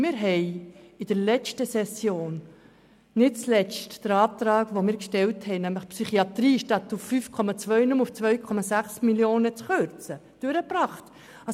In der vergangenen Session haben wir unseren Antrag durchgebracht, wonach die Psychiatrie statt auf 5,2 Mio. nur auf 2,6 Mio. Franken gekürzt werden soll.